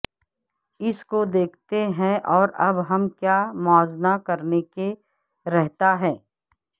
اس کو دیکھتے ہیں اور اب ہم کیا موازنہ کرنے کے رہتا ہے